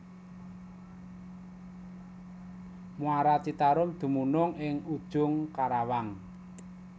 Muara Citarum dumunung ing Ujung Karawang